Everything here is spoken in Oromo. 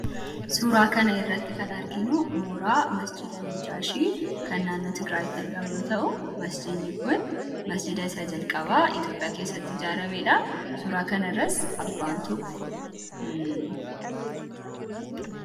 suuraa kana irratti kan arginu mooraa masjiida najjaashii kannaannoti giraaditti argama yoo ta'u masjiinnii kun masjiida isaa jalqabaa itoophiyaa keessatti jaarameedha suuraa kana irras abbaan tokko